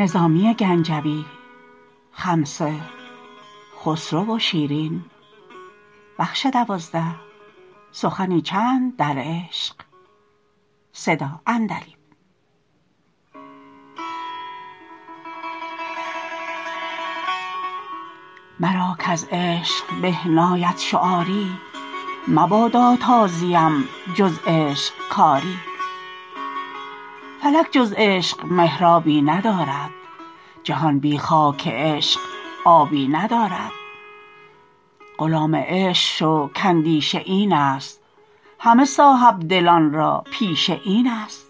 مرا کـز عشق به ناید شعاری مبادا تا زیم جز عشق کاری فلک جز عشق محرابی ندارد جهان بی خاک عشق آبی ندارد غلام عشق شو کاندیشه این است همه صاحب دلان را پیشه این است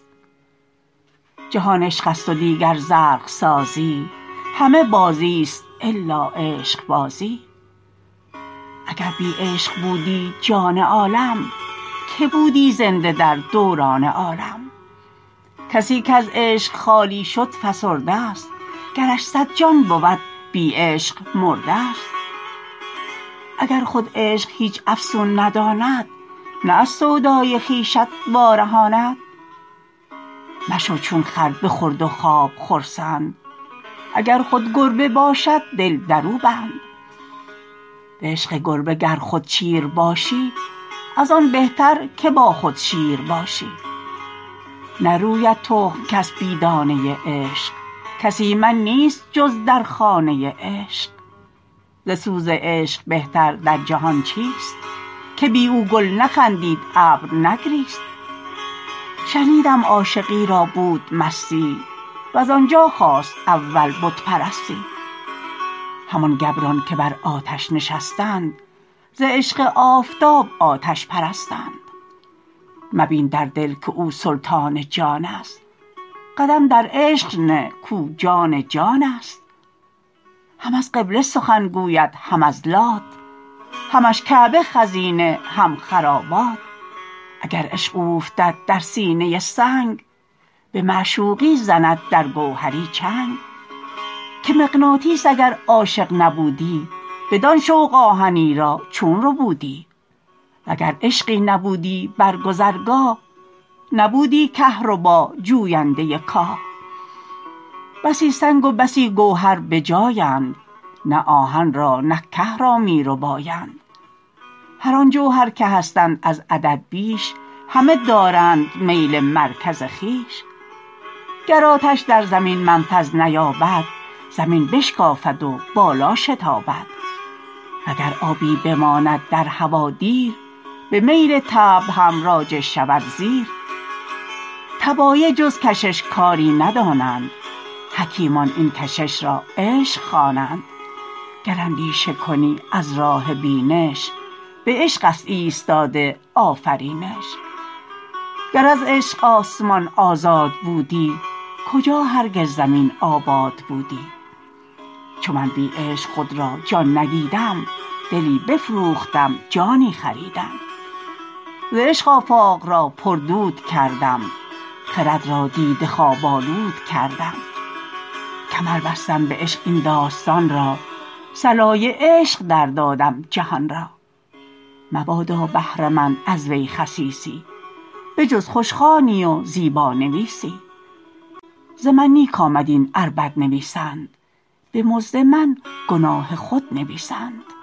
جهان عشقست و دیگر زرق سازی همه بازیست الا عشقبازی اگر بی عشق بودی جان عالم که بودی زنده در دوران عالم کسی کز عشق خالی شد فسرده ست گرش صد جان بود بی عشق مرده ست اگر خود عشق هیچ افسون نداند نه از سودای خویشت وا رهاند مشو چون خر به خورد و خواب خرسند اگر خود گربه باشد دل درو بند به عشق گربه گر خود چیر باشی از آن بهتر که با خود شیر باشی نروید تخم کس بی دانه عشق کس ایمن نیست جز در خانه عشق ز سوز عشق بهتر در جهان چیست که بی او گل نخندید ابر نگریست شنیدم عاشقی را بود مستی وز آنجا خاست اول بت پرستی همان گبران که بر آتش نشستند ز عشق آفتاب آتش پرستند مبین در دل که او سلطان جانست قدم در عشق نه کاو جان جانست هم از قبله سخن گوید هم از لات همش کعبه خزینه هم خرابات اگر عشق اوفتد در سینه سنگ به معشوقی زند در گوهری چنگ که مغناطیس اگر عاشق نبودی بدان شوق آهنی را چون ربودی و گر عشقی نبودی بر گذرگاه نبودی کهربا جوینده کاه بسی سنگ و بسی گوهر بجایند نه آهن را نه که را می ربایند هران جوهر که هستند از عدد بیش همه دارند میل مرکز خویش گر آتش در زمین منفذ نیابد زمین بشکافد و بالا شتابد و گر آبی بماند در هوا دیر به میل طبع هم راجع شود زیر طبایع جز کشش کاری ندانند حکیمان این کشش را عشق خوانند گر اندیشه کنی از راه بینش به عشق است ایستاده آفرینش گر از عشق آسمان آزاد بودی کجا هرگز زمین آباد بودی چو من بی عشق خود را جان ندیدم دلی بفروختم جانی خریدم ز عشق آفاق را پردود کردم خرد را دیده خواب آلود کردم کمر بستم به عشق این داستان را صلای عشق در دادم جهان را مبادا بهره مند از وی خسیسی به جز خوشخوانی و زیبانویسی ز من نیک آمد این ار بد نویسند به مزد من گناه خود نویسند